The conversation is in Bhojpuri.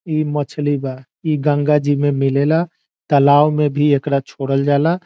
इ मछली बा इ गंगा जी में मिलेला तालाब में भी एकरा छोड़ल जाला।